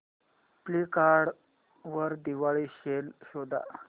Flipkart वर Diwali sale शोधा